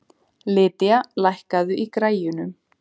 Lydia, lækkaðu í græjunum.